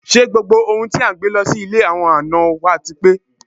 Ṣé gbogbo ohun tí à ń gbé lọ sí ilé àwọn àna wá ti pé?